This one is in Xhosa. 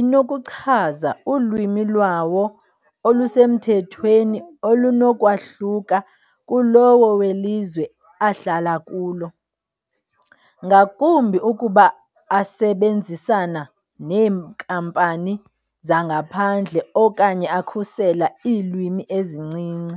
inokuchaza ulwimi lwawo olusemthethweni olunokwahluka kulowo welizwe ahlala kulo, ngakumbi ukuba asebenzisana neenkampani zangaphandle okanye akhusela iilwimi ezincinci.